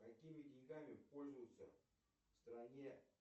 какими деньгами пользуются в стране